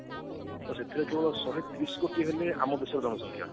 ତ ବିଶ୍ବରେ ଯେତେବେଳେ ଶହେ ତିରିଶି କୋଟି ହେଲେ ଆମ ଦେଶର ଜନସଂଖ୍ୟା